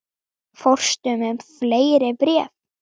Fórstu með fleiri bréf?